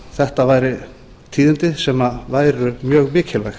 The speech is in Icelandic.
þetta væru tíðindi sem væru mjög mikilvæg